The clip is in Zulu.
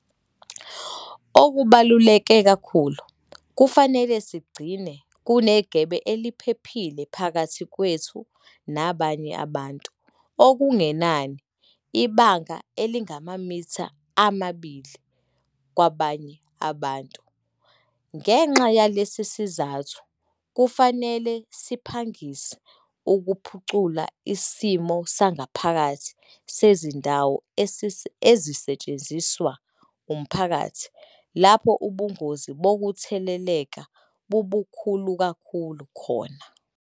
Okubaluleke kakhulu, kufanele sigcine kunegebe eliphephile phakathi kwethu nabanye abantu - okungenani ibanga elingamamitha amabili - kwabanye abantu. Ngenxa yalesi sizathu kufanele siphangise ukuphucula isimo sangaphakathi sezindawo ezisetshenziswa umphakathi lapho ubungozi bokutheleleka bubukhulu kakhulu khona.